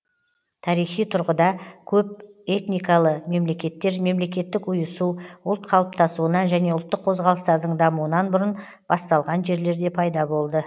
тарихи тұрғыда көпэтникалы мемлекеттер мемлекеттік ұйысу ұлт қалыптасуынан және ұлттық қозғалыстардың дамуынан бұрын басталған жерлерде пайда болды